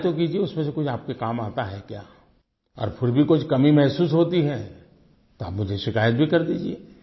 try तो कीजिए उसमें से आपके काम कुछ आता है क्या और फिर भी कुछ कमी महसूस होती है तो आप मुझे शिकायत भी कर दीजिये